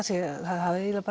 hafi eiginlega